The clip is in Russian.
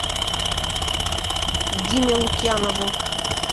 диме лукьянову